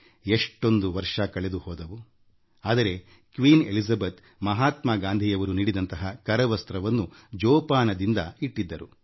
ಎಷ್ಟೊಂದು ವರ್ಷಗಳು ಉರುಳಿವೆ ಆದರೆ ಕ್ವೀನ್ ಎಲಿಜೆಬೆತ್ ಅವರುಮಹಾತ್ಮ ಗಾಂಧಿಯವರು ತಮಗೆ ನೀಡಿದ್ದ ಖಾದಿ ಕರವಸ್ತ್ರವನ್ನು ಜತನವಾಗಿ ಇಟ್ಟಿದ್ದಾರೆ